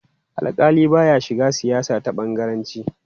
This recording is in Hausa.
Alƙali ba ya shiga siyasa ta bangaranci.